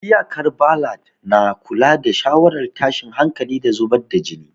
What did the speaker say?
Iyakar balad na kula da sha'awar tashin hankali, da zubar da jini.